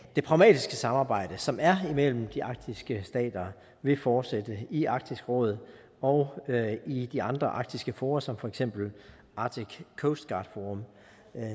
det pragmatiske samarbejde som er imellem de arktiske stater vil fortsætte i arktisk råd og i de andre arktiske fora som for eksempel arctic coast guard forum